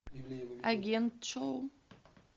агент шоу